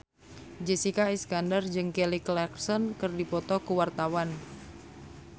Jessica Iskandar jeung Kelly Clarkson keur dipoto ku wartawan